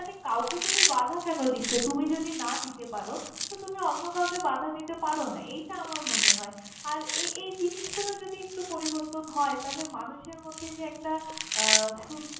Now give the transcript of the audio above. মানে কাউকে তো আমি বাঁধা কেন দিছ তুমি যদি না দিতে পারো তো তুমি অন্য কাউকে বাঁধা দিতে পারো না এইটা আমার মনে হয়, আর এই জিনিস গুলই একটু পরিবর্তন হয় তালে মানুষের মধ্যে যে একটা আহ সুন।